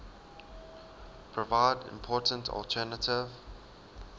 provide important alternative